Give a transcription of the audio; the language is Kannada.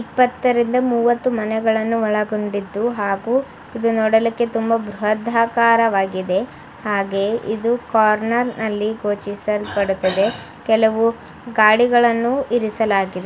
ಇಪ್ಪತ್ತರಿಂದ ಮೂವತ್ತು ಮನೆಗಳನ್ನು ಒಳಗೊಂಡಿದ್ದು ಹಾಗು ಇದು ನೋಡಲಿಕ್ಕೆ ತುಂಬಾ ಬೃಹದಾಕಾರವಾಗಿದೆ ಹಾಗೆ ಇದು ಕಾರ್ನರ್ನಲ್ಲಿ ಗೋಚಿಸಲ್ ಪಡುತ್ತದೆ. ಕೆಲವು ಗಾಡಿಗಳನ್ನು ಇರಿಸಲಾಗಿದೆ.